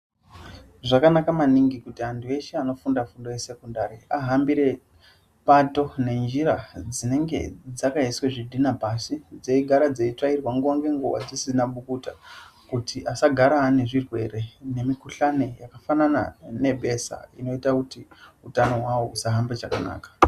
Zvakanaka maningi kuti andu eshe anofunda fundo yesekondari vahambire pato nenjira dzinenge dzakaiswa zvidhina pashi dzeigara dzeitsvairwa nguwa nenguwa dzisina bukuta kuti asagara anezvirwere nemukuhlani wakaita sebesha unoita kuti utano wavo usahambe chakanaka.